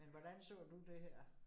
Men hvordan så du det her?